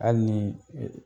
Hali ni